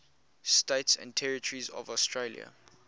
states and territories of australia